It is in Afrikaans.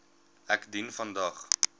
ek dien vandag